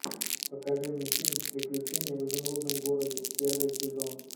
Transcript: покажи мне фильм приключения в изумрудном городе первый сезон